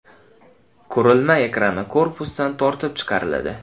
Qurilma ekrani korpusdan tortib chiqariladi.